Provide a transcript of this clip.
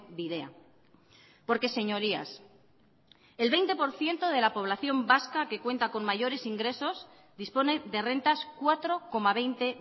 bidea porque señorías el veinte por ciento de la población vasca que cuenta con mayores ingresos dispone de rentas cuatro coma veinte